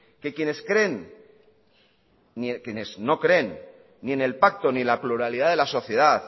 que quienes no creen ni en el pacto ni en la pluralidad de la sociedad